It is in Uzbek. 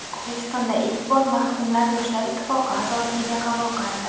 O‘zbekistonda ilk bor mahkumlar Yoshlar ittifoqi a’zoligiga qabul qilindi.